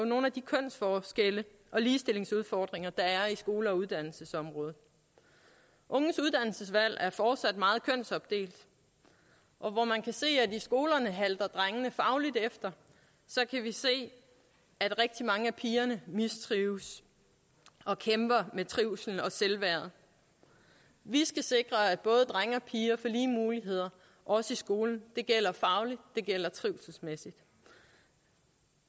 nogle af de kønsforskelle og ligestillingsudfordringer der er skole og uddannelsesområdet unges uddannelsesvalg er fortsat meget kønsopdelt hvor man kan se at i skolerne halter drengene fagligt efter så kan vi se at rigtig mange af pigerne mistrives og kæmper med med trivsel og selvværd vi skal sikre at både drenge og piger får lige muligheder også i skolen det gælder fagligt det gælder trivselsmæssigt